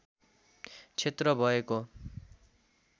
क्षेत्र भएको